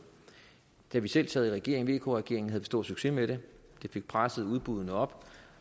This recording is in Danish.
da vi selv sad i vk regeringen havde vi stor succes med det det fik presset udbuddene op